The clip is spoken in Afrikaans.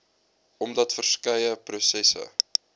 omdat verskeie prosesse